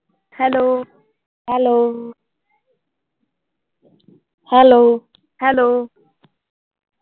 hello